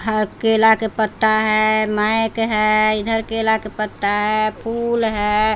हर केला के पत्ता है मैक है इधर केला के पत्ता है फूल हैं।